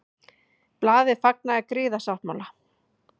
Blaðið fagnaði griðasáttmála